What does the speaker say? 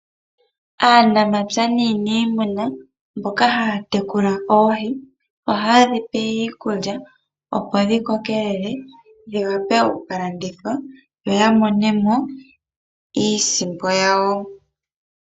Aanamapya naaniimuna mbono haya tekula oohi ohaye dhi pe iikulya, opo dhi kokelele dhi wape oku ka landithwa yo ya mone mo iisimpo yawo.